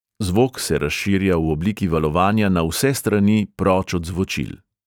Zvok se razširja v obliki valovanja na vse strani proč od zvočil.